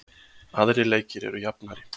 Aðrir leikir eru jafnari